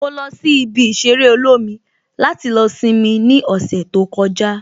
Mo lọ sí ibi ìṣeré olómi láti lọ simi ní ọ̀sẹ̀ tó kọjá